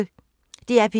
DR P1